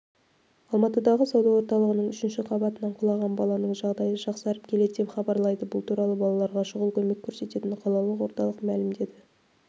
алматыдағы сауда орталығының үшінші қабатынан құлаған баланың жағдайы жақсарып келеді деп хабарлайды бұл туралы балаларға шұғыл көмек көрсететін қалалық орталық мәлімдеді